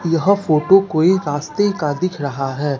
यह फोटो कोई रास्ते का दिख रहा है।